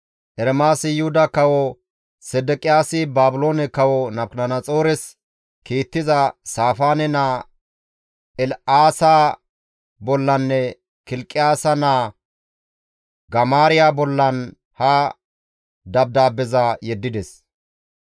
Ermaasi Yuhuda kawo Sedeqiyaasi Baabiloone kawo Nabukadanaxoores kiittiza Saafaane naa El7aasa bollanne Kilqiyaasa naa Gamaariya bollan he dabdaabbeza yeddides.